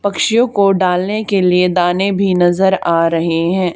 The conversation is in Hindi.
पक्षियों को डालने के लिए दाने भी नजर आ रहे हैं।